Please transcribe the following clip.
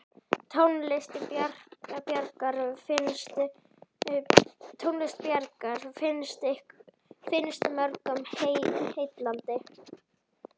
Tónlist Bjarkar finnst mörgum heillandi.